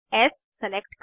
S select करें